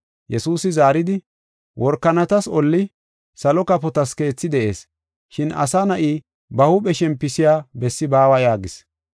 Yesuusi zaaridi, “Workanatas olli, salo kafotas keethi de7ees, shin Asa Na7i ba huuphe shempisiya bessi baawa” yaagis.